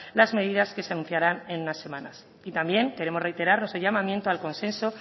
las medidas que se anunciarán en unas semanas y también queremos reiterar nuestro llamamiento al consenso